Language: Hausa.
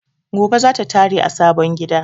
Gobe zata tare a sabon gida